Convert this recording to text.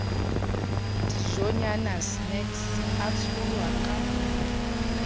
dijonyana snacks a tsholwa ka